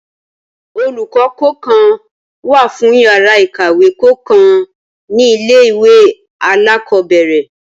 Olùkọ́ kọ̀ọ̀kan wá fún yàrá ìkàwé kọ̀ọ̀kan ní ilé ìwé alákọ̀ọ́bẹ̀rẹ̀